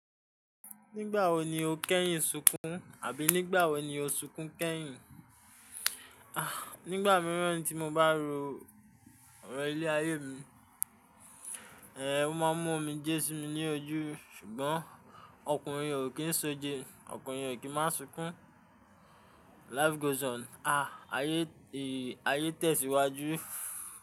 Nígbà wo ni o kẹ́yìn sunkún, àbí nígbà wo ni o sunkún kẹ́yìn? Ah, nígbà mìíràn tí mo bá ro ọ̀rọ̀ ilé-ayé mi, ẹ, o máa mú omijé sí mi ní ojú, ṣùgbọ́n ọkùnrin ò kí ń sojo, ọkùnrin ò kí má sunkún. Life goes on. Ah, ayé èyí, ayé tẹ̀síwájú.